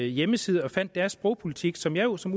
hjemmeside og fandt deres sprogpolitik som jeg jo som